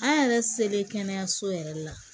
An yɛrɛ selen kɛnɛyaso yɛrɛ la